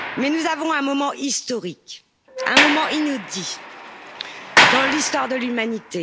Nous avons un moment historique, un moment inédit dans l'histoire de l'humanité.